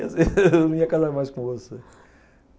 Eu não ia casar mais com você.